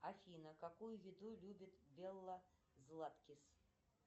афина какую еду любит белла златкис